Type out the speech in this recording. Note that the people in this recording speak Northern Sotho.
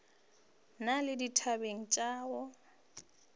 na le dithabe tša go